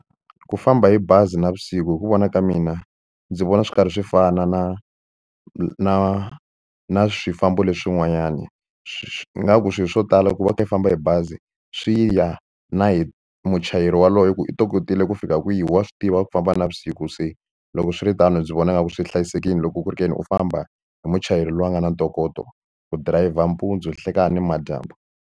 Ku famba hi bazi navusiku hi ku vona ka mina ndzi vona swi karhi swi fana na na na swifambo leswin'wana swi nga ku swilo swo tala ku va u kha i famba hi bazi swi ya na hi muchayeri waloye ku i tokotile ku fika kwihi wa swi tiva ku famba navusiku se loko swiritano ndzi vona nga ku swi hlayisekile loko ku ri ke ni u famba hi muchayeri loyi a nga na ntokoto ku dirayivha mpundzu nhlekani nimadyambu.